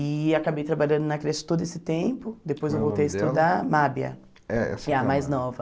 E acabei trabalhando na creche todo esse tempo, depois eu voltei a estudar Mábia, é que é a mais nova.